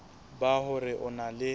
ba hore o na le